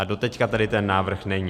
A doteď tady ten návrh není.